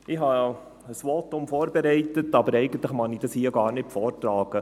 Ich habe ein Votum vorbereitet, aber eigentlich mag ich es hier gar nicht vortragen.